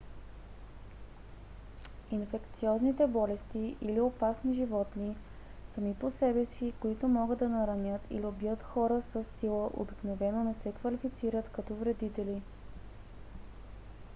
инфекциозните болести или опасни животни сами по себе си които могат да наранят или убият хора със сила обикновено не се квалифицират като вредители